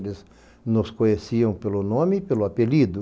Eles nos conheciam pelo nome e pelo apelido.